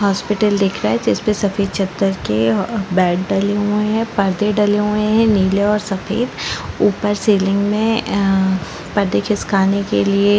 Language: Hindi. हॉस्पिटल दिख रहा है जिसपे सफ़ेद चदर के बेड डले हुए है परदे डले हुए है नीले और सफ़ेद ऊपर सेल्लिंग में अ परदे खिसकाने के लिए --